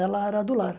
Ela era do lar.